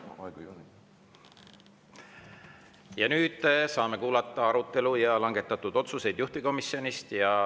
Nüüd saame kuulata juhtivkomisjoni arutelust ja langetatud otsustest.